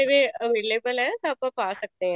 ਮੇਵੇ available ਨੇ ਤਾਂ ਆਪਾਂ ਪਾ ਸਕਦੇ ਹਾਂ